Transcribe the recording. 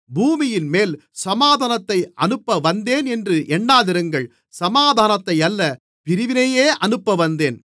பூமியின்மேல் சமாதானத்தை அனுப்பவந்தேன் என்று எண்ணாதிருங்கள் சமாதானத்தையல்ல பிரிவினையையே அனுப்பவந்தேன்